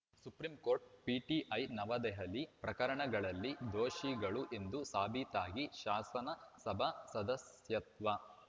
supreme court PTI New Delhi ಪ್ರಕರಣಗಳಲ್ಲಿ ದೋಷಿಗಳು ಎಂದು ಸಾಬೀತಾಗಿ ಶಾಸನಸಭಾ ಸದಸ್ಯತ್ವ